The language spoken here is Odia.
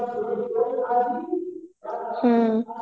ହ୍ମ